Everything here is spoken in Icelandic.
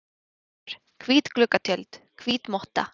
ver, hvít gluggatjöld, hvít motta.